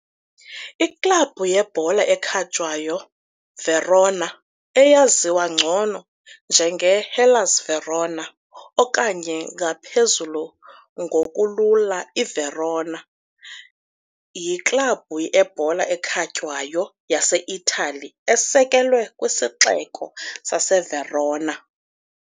IKlabhu yebhola ekhatywayo Verona, eyaziwa ngcono njengeHellas Verona okanye ngaphezulu ngokulula iVerona, yiklabhu yebhola ekhatywayo yaseItali esekelwe kwisixeko saseVerona.